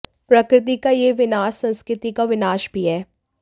प्रकृति का यह विनाश संस्कृति का विनाश भी है